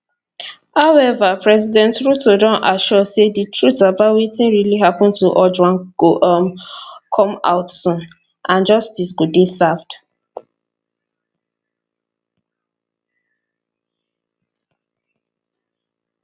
however president ruto don assure say di truth about wetin really happun to ojwang go um come out soon and justice go dey served